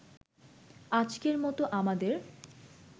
আজকের মতো আমাদের